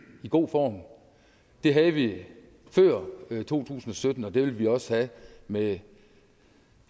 god form det havde vi før to tusind og sytten og det vil vi også have med